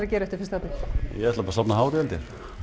að gera eftir fyrsta apríl ég ætla að safna hári held ég